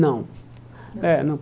Não. É não